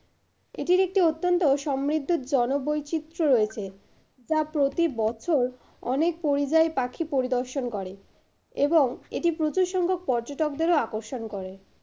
এটির একটি অত্যন্ত সমৃদ্ধ জনো বৈচিত্র রয়েছে যা প্রতিবছর অনেক পরিযায়ী পাখি পরিদর্শন করে এবং এটি প্রচুর সংখ্যক পর্যটকদেরও আকর্ষণ করে।